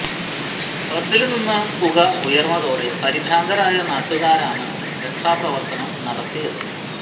ബസില് നിന്ന് പുക ഉയര്ന്നതോടെ പരിഭ്രാന്തരായ നാട്ടുകാരാണ് രകാഷാപ്രവര്ത്തനം നടത്തിയത്